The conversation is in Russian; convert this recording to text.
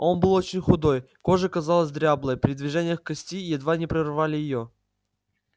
он был очень худой кожа казалась дряблой при движениях кости едва не прорывали её